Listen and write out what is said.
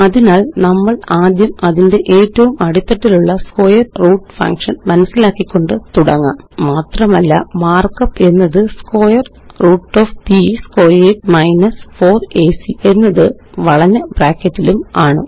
അതിനാല് നമ്മളാദ്യം അതിന്റെ ഏറ്റവും അടിത്തട്ടിലുള്ള സ്ക്വയർ റൂട്ട് ഫങ്ഷൻ മനസ്സിലാക്കിക്കൊണ്ട് തുടങ്ങാം മാത്രമല്ല മാര്ക്കപ്പ് എന്നത് square root of b squared 4എസി എന്നത് വളഞ്ഞ ബ്രാക്കറ്റിലുമാണ്